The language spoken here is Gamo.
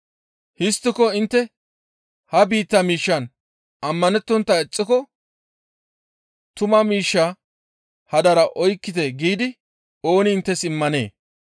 Histtiko intte ha biittaa miishshan ammanettontta ixxiko tuma miishsha hadara oykkite giidi ooni inttes immanee?